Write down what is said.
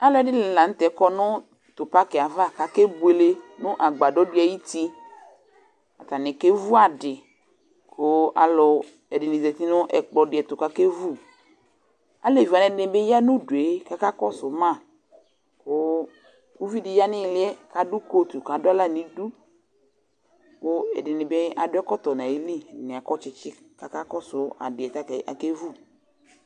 alʊɛdɩnɩ lanʊtɛ, kɔ nʊ ɛmɛ, kʊ akebuele nʊ agbadɔ dɩ ayʊti, atanɩ kevu adɩ, kʊ aluɛdɩnɩ zati nʊ ɛkplɔ dɩ ɛtʊ kʊ akevu, aleviwanɩ ɛdɩnɩ bɩ ya nʊ udu yɛ, kʊ akakɔsu mă, uvi ya nʊ ɩɩlɩ yɛ adʊ kotu kʊ adʊ aɣlanidu, kʊ ɛdɩnɩta akɔ ɛkɔtɔ, kʊ akɔ tsitsi kʊ akasʊ adɩ yɛ